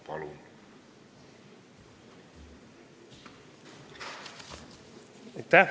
Palun!